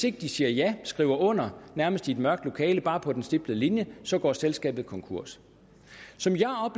ikke siger ja og skriver under nærmest i et mørkt lokale bare på den stiplede linje så går selskabet konkurs